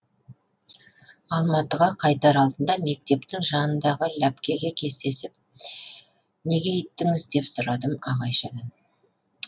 алматыға қайтар алдында мектептің жанындағы ләпкеде кездесіп неге өйттіңіз деп сұрадым ағайшадан